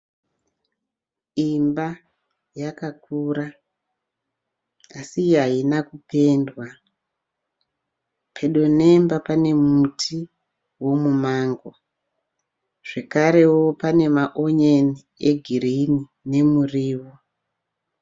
Imba yakakura asi haina kupendwa. Pedo nemba pane muti womumango. Zvekareo pane maonyeni egirini nemurio.